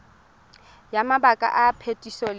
ya mabaka a phetiso le